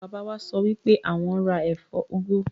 Bàbá wa sọ wipe awọn n ra ẹfọ úgú.